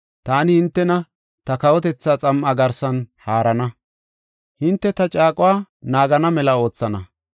Taani hintena ta kawotetha xam7a garsan haarana; hinte ta caaquwa naagana mela oothana.